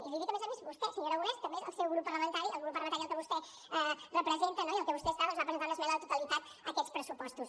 i li dic a més a més a vostè senyor aragonès que a més el seu grup parlamentari el grup parlamentari que vostè representa no i en el que vostè està doncs va presentar una esmena a la totalitat a aquests pressupostos